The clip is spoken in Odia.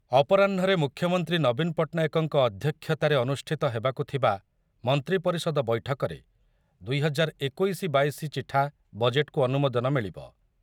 ଅପରାହ୍ନରେ ମୁଖ୍ୟମନ୍ତ୍ରୀ ନବୀନ ପଟ୍ଟନାୟକଙ୍କ ଅଧ୍ୟକ୍ଷତାରେ ଅନୁଷ୍ଠିତ ହେବାକୁ ଥିବା ମନ୍ତ୍ରୀ ପରିଷଦ ବୈଠକରେ ଦୁଇ ହଜାର ଏକୋଇଶି ବାଇଶି ଚିଠା ବଜେଟ୍‌‌‌କୁ ଅନୁମୋଦନ ମିଳିବ ।